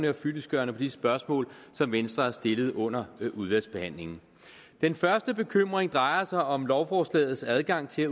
og fyldestgørende på de spørgsmål som venstre har stillet under udvalgsbehandlingen den første bekymring drejer sig om lovforslagets adgang til at